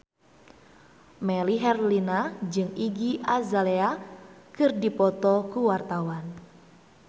Melly Herlina jeung Iggy Azalea keur dipoto ku wartawan